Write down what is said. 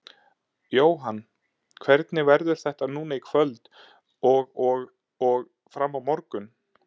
Jóhann: Hvernig verður þetta núna í kvöld og og og fram á morgun?